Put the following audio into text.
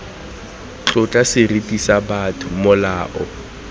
tlotla seriti sa botho molao